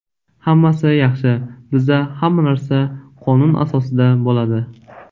Hammasi yaxshi, bizda hamma narsa qonun asosida bo‘ladi”.